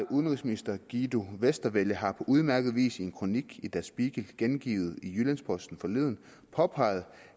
udenrigsminister guido westerwelle har på udmærket vis i en kronik i der spiegel gengivet i jyllands posten forleden påpeget